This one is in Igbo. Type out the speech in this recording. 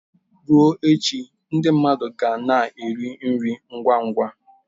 Ruo echi ndị mmadụ ga na-eri nri ngwa ngwa.